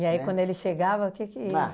aí quando ele chegava, o que que. Ah